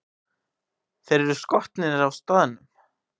Þeir eru skotnir á staðnum!